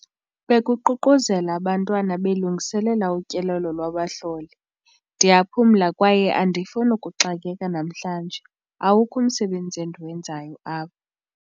Bekuququzela abantwana belungiselela utyelelo lwabahloli. ndiyaphumla kwaye andifuni ukuxakeka namhlanje, awukho umsebenzi endiwenzayo apha